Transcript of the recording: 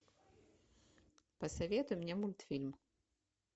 посоветуй мне мультфильм